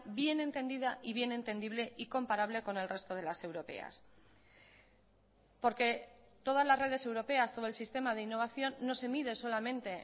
bien entendida y bien entendible y comparable con el resto de las europeas porque todas las redes europeas todo el sistema de innovación no se mide solamente